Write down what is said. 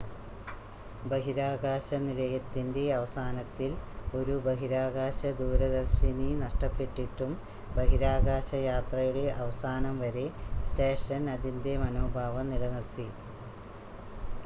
ബഹിരാകാശ നിലയത്തിൻ്റെ അവസാനത്തിൽ ഒരു ബഹിരാകാശ ദൂരദർശിനി നഷ്ടപ്പെട്ടിട്ടും ബഹിരാകാശയാത്രയുടെ അവസാനം വരെ സ്റ്റേഷൻ അതിൻ്റെ മനോഭാവം നിലനിർത്തി